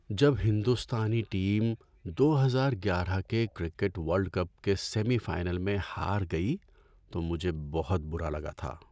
جب ہندوستانی ٹیم دو ہزار گیارہ کے کرکٹ ورلڈ کپ کے سیمی فائنل میں ہار گئی تو مجھے بہت برا لگا تھا۔